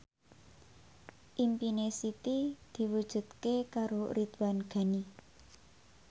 impine Siti diwujudke karo Ridwan Ghani